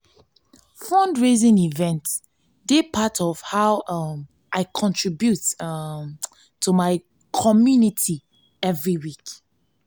fundraising events dey part of how um i contribute um to my community every week.